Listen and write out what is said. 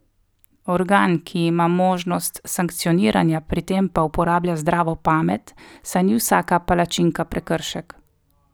Organ, ki ima možnost sankcioniranja, pri tem pa uporablja zdravo pamet, saj ni vsaka palačinka prekršek.